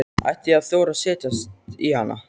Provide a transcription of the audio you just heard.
Ætti ég að þora að setjast í hann?